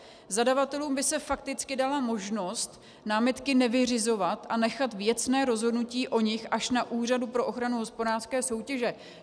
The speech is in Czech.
Zadavatelům by se fakticky dala možnost námitky nevyřizovat a nechat věcné rozhodnutí o nich až na Úřadu pro ochranu hospodářské soutěže.